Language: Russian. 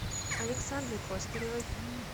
александре костаревой